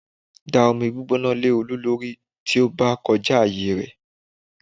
Da omi gbígbóná lé Olú lórí tí ó bá ti kọjá ààyè rẹ